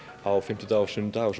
á fimmtudag og sunnudag og